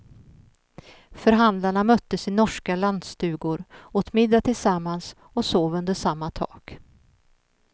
Förhandlarna möttes i norska lantstugor, åt middag tillsammans och sov under samma tak.